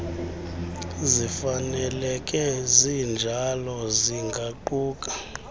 zifaneleke zinjalo zingaquka